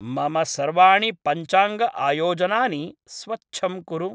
मम सर्वाणि पञ्चाङ्ग आयोजनानि स्वच्छं कुरु।